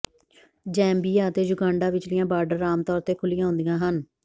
Zambia ਅਤੇ Uganda ਵਿਚਲੀਆਂ border ਆਮ ਤੌਰ ਤੇ ਖੁੱਲ੍ਹੀਆਂ ਹੁੰਦੀਆਂ ਹਨ